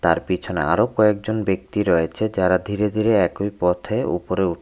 তার পিছনে আরো কয়েকজন ব্যক্তি রয়েছে যারা ধীরে ধীরে একোই পথে উপরে উ--